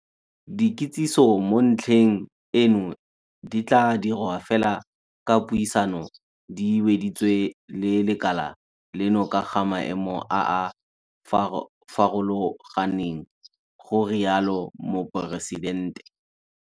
Dikitsiso mo ntlheng eno di tla dirwa fela fa dipuisano di weditswe le lekala leno ka ga maemo a a farologaneng, go rialo Moporesitente.